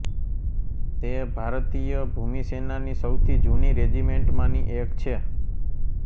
તે ભારતીય ભૂમિસેનાની સૌથી જૂની રેજિમેન્ટમાંની એક છે